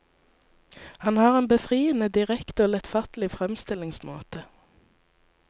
Han har en befriende direkte og lettfattelig fremstillingsmåte.